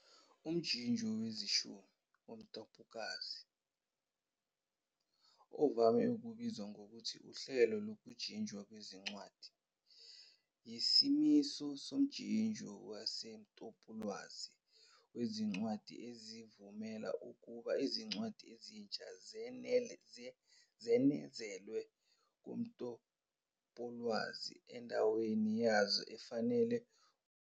Umjinjo wezishumi womtapolwazi, ovame ukubizwa ngokuthi uhlelo lokujinjwa kwezincwadi, yisimiso somjinjo wasemtapolwazi wezincwadi esivumela ukuba Izincwadi ezintsha zenezelwe kumtapowolwazi endaweni yazo efanele ngokwezihloko.